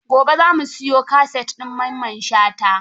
Gobe za mu siyo kaset din Mamman Shata.